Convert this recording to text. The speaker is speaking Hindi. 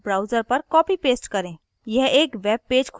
या link को browser पर copy paste करें